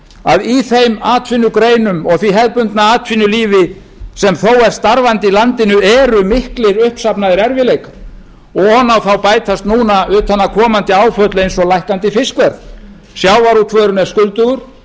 að í þeim atvinnugreinum og því hefðbundna atvinnulífi sem þó er starfandi í landinu eru miklir uppsafnaðir erfiðleikar og ofan á þá bætast núna utanaðkomandi áföll eins og lækkandi fiskverð sjávarútvegurinn er skuldugur